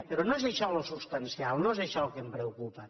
però no és això el substancial no és això el que em preocupa